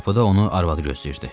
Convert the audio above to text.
Qapıda onu arvadı gözləyirdi.